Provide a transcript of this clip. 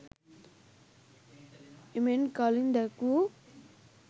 එමෙන් කලින් දැක්වූ